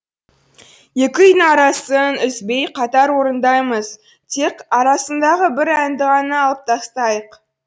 екі күйдің арасын үзбей қатар орындаймыз тек арасындағы бір әнді ғана алып тастайық